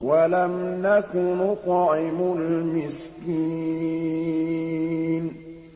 وَلَمْ نَكُ نُطْعِمُ الْمِسْكِينَ